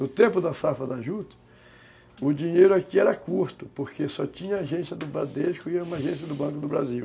No tempo da safra da juta, o dinheiro aqui era curto, porque só tinha a agência do Bradesco e uma agência do Banco do Brasil.